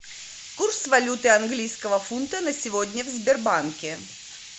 курс валюты английского фунта на сегодня в сбербанке